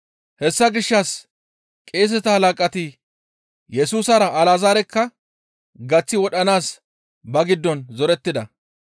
Hessa gishshas qeeseta halaqati Yesusara Alazaarekka gaththi wodhanaas ba giddon zorettida.